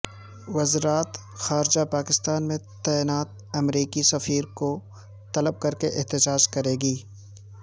وزرات خارجہ پاکستان میں تعینات امریکی سفیر کو طلب کرکے احتجاج کرے گی